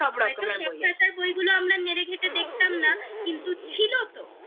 হয়তো সব ভাষার বইগুলো আমরা নেড়ে ঘেটে দেখতাম না কিন্তু ছিলো তো